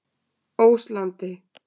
Óslandi